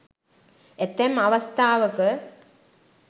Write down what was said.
ඇතැම් අවස්ථාවක